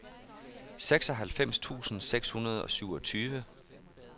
seksoghalvfems tusind seks hundrede og syvogtyve